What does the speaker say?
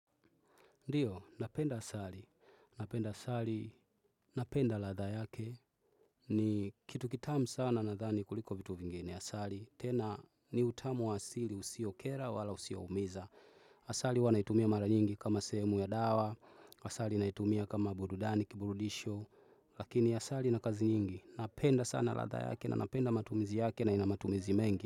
Ndiyo, napenda asali. Napenda asali. Napenda ladha yake. Ni kitu kitamu sana na dhani kuliko vitu vingine. Asali tena ni utamu waasili usio kera wala usio umiza. Asali huwanaitumia mara nyingi kama sehemu ya dawa. Asali naitumia kama burudani, kiburudisho. Lakini asali na kazi nyingi. Napenda sana ladha yake na napenda matumizi yake na inamatumizi mengi.